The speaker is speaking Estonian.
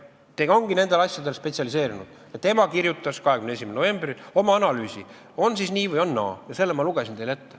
Ta on nendele asjadele spetsialiseerunud ja ta kirjutas 21. novembril oma analüüsi, on siis nii või on naa, ja selle ma lugesin teile ette.